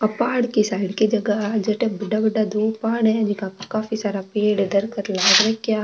आ पहाड़ की साइड की जगह जट बड़ा बड़ा दो पहाड़ है जीका काफी सारा पेड़ है दरकत लाग रखा --